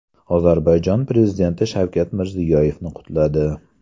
Ozarbayjon prezidenti Shavkat Mirziyoyevni qutladi.